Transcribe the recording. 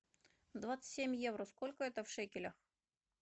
двадцать семь евро сколько это в шекелях